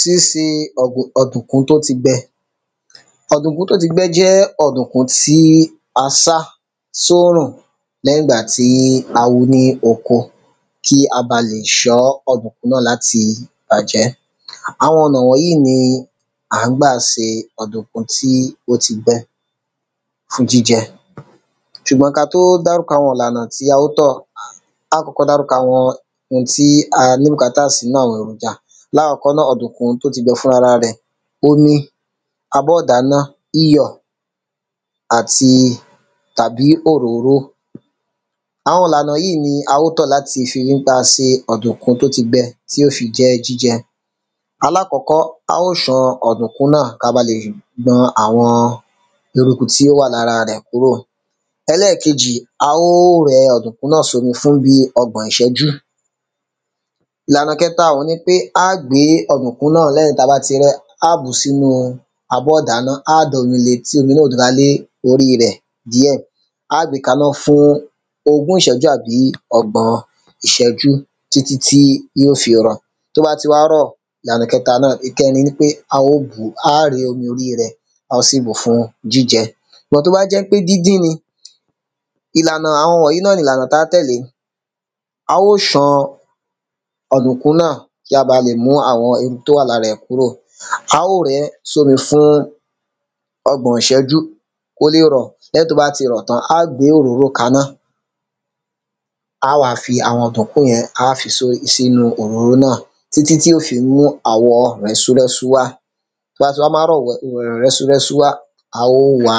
síse ọ̀dùnkún tó ti gbẹ. ọ̀dùnkún tó ti gbẹ jẹ́ ọ̀dùnkún tí a sá sórùn lẹ́yìn ìgbà tí a wu ní oko kí a ba lè ṣọ́ ọ̀dùnkún náà láti bàjẹ́. àwọn ọ̀nà wọ̀nyíì í ni à ńgbà se ọ̀dùnkún tó ti gbẹ fún jíjẹ. ṣùgbọ́n ka tó dárúkọ àwọn ìlànà tí a ó tọ̀, á kọ́kọ́ dárúkọ àwọn ohun tí a ní bùkátà sí nínú àwọn èròjà lákọ́kọ́ ná, ọ̀dùnkún tó ti gbẹ fúnrara rẹ̀, omi, abọ́ ìdáná, iyọ̀, àti tàbí òróró. àwọn ílànà yíì í ni a ó tọ̀ láti fi ri ńpé a se ọ̀dùnkún tó tí gbẹ tí ó fi jẹ́ jíjẹ; alákọ́kọ́, a ó ṣan ọ̀dùnkún náà ka ba lè gbọn àwọn eruku tí ó wà lára rẹ̀ kúkò. ẹlẹ́kejì, a ó rẹ ọ̀dùnkún sómi fún bíi ọgbọ̀n ìṣẹ́jú. ìlànà kẹta òun ni pé á gbé ọ̀dùnkún, lẹ́yìn ta bá ti rẹ́ á bùú sínúu abọ́ ìdáná, á domi le tí omi náà ó dọra lé oríi rẹ̀ díẹ̀. a á gbe kaná fún ogún ìṣẹ́jú àbí ọgbọ̀n ìṣẹ́jú títí tí yíò fi rọ̀. tó bá ti wá rọ̀, ìlànà kẹta náà, ìkẹrin ni pé a ó bùú, á ré omi oríi rẹ̀ dànù, a ó sì bùú fún jíjẹ. ṣùgbọ́n tó bá jẹ́ pé díndín ni, ìlànà àwọn wọ̀nyí náà ni ìlànà taá tẹ̀lé; a ó ṣan ọ̀dùnkún náà kí a ba lè mú àwọn ewu tó wà lára ẹ̀ kúrò, a ó rẹ́ sómi fún ọgbọ̀n ìṣẹ́jú kó lè rọ̀, lẹ́yìn tó bá ti rọ̀ tán, á gbé òróró kaná. a á wá fi àwọn ọ̀dùnkún yẹn, á fi só sínu òróró náà títí tí ó fi mú àwọ rẹ́súrẹ́sú wá. tó bá ti wá máwọ̀ rẹ́súrẹ́sú wá, a ó wa